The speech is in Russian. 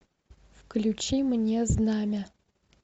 включи мне знамя